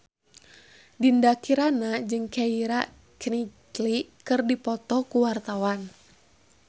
Dinda Kirana jeung Keira Knightley keur dipoto ku wartawan